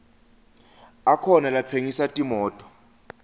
akhona latsengisa timoto